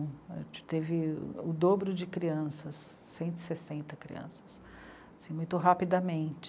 A gente teve o dobro de crianças, cento e sessenta crianças, assim, muito rapidamente.